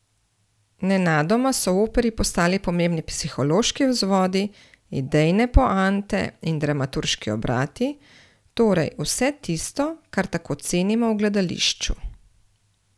Nenadoma so v operi postali pomembni psihološki vzvodi, idejne poante in dramaturški obrati, torej vse tisto, kar tako cenimo v gledališču.